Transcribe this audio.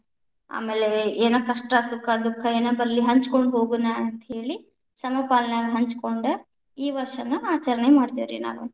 ಆಮೇಲೆ ಎನ್‌ ಕಷ್ಟ ಸುಖ ದುಃಖ ಏನ ಬರಲಿ ಹಂಚಕೊಂಡ ಹೋಗೋಣ, ಅಂತ ಹೇಳಿ ಸಮಪಾಲನಾಗ ಹಂಚಗೊಂಡ ಈ ವಷ೯ವನ್ನ ಆಚರಣೆ ಮಾಡ್ತೀವ್ರಿ ನಾವ್.